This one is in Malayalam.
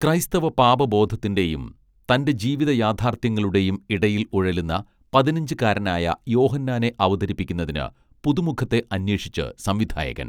ക്രൈസ്തവ പാപബോധത്തിന്റെയും തന്റെ ജീവിത യാഥാർത്ഥ്യങ്ങളുടെയും ഇടയിൽ ഉഴലുന്ന പതിനഞ്ചുകാരനായ യോഹന്നാനെ അവതരിപ്പിക്കുന്നതിന് പുതുമുഖത്തെ അന്വേഷിച്ച് സംവിധായകൻ